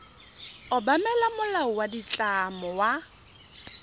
obamela molao wa ditlamo wa